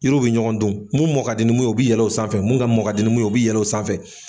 Yiriw bi ɲɔgɔn dun. Mun mɔ ka di ni mun ye o bi yɛlɛ o sanfɛ, min ka mɔ ka di ni mun ye o bi yɛl'o sanfɛ.